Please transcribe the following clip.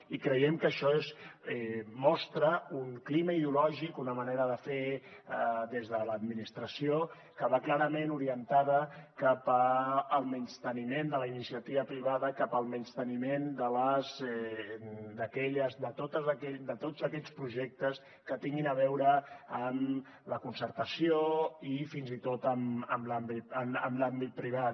i creiem que això mostra un clima ideològic una manera de fer des de l’administració que va clarament orientada cap al menysteniment de la iniciativa privada cap al menysteniment de tots aquells projectes que tinguin a veure amb la concertació i fins i tot amb l’àmbit privat